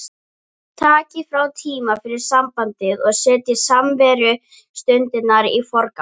Takið frá tíma fyrir sambandið og setjið samverustundirnar í forgang